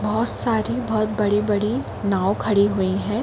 बोहोत सारी बोहोत बड़ी-बड़ी नाव खड़ी हुई हैं।